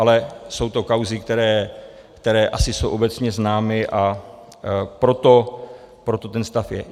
Ale jsou to kauzy, které asi jsou obecně známy, a proto ten stav je.